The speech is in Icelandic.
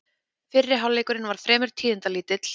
Fyrri hálfleikurinn var fremur tíðindalítill